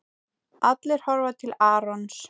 Allir horfa til Arons.